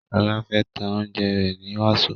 Shola fè tá oúnjẹ rẹ ní waso.